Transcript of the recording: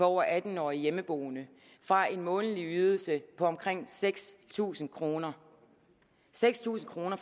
over atten år og hjemmeboende fra en månedlig ydelse på omkring seks tusind kroner seks tusind kroner